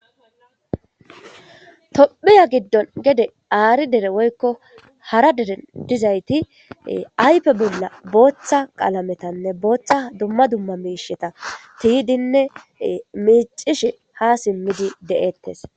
tophiya giddon gede aari dere woykko hara dere dizayti aype bolla booththa qalametanne booththa dumma dumma miisheta tiydinne miicishe ha simmidi de7ettes